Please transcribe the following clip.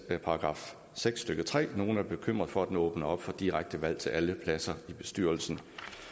§ seks stykke tre for nogle er bekymrede for at den åbner op for direkte valg til alle pladser i bestyrelsen